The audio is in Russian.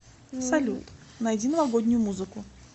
салют найди новогоднюю музыку